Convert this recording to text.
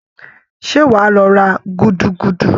Ṣé wàá lọ ra gúdúgúdú?